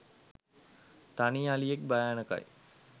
තනි අලියෙක් භයානකයි